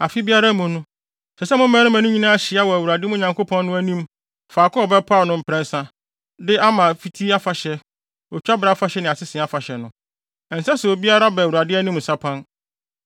Afe biara mu no, ɛsɛ sɛ mo mmarima no nyinaa hyia wɔ mo Awurade, mo Nyankopɔn no, anim faako a ɔbɛpaw no mprɛnsa de ama Apiti Afahyɛ, Otwabere Afahyɛ ne Asese Afahyɛ no. Ɛnsɛ sɛ obiara ba Awurade anim nsapan.